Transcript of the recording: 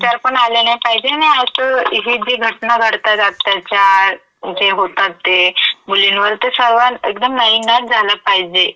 विचारपण आले नाई पाहिजे आणि असं ही जी घटना घडतायेत आत्ता ज्या, जे होतात ते मुलींवरती सर्वां एकदम पाहिजे.